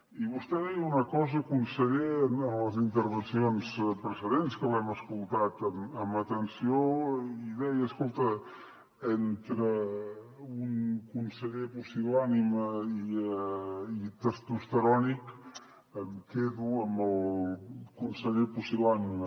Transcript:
i vostè deia una cosa conseller en les intervencions precedents que l’hem escoltat amb atenció i deia escolta entre un conseller pusil·lànime i testosterònic em quedo amb el conseller pusil·lànime